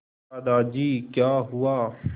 दादाजी क्या हुआ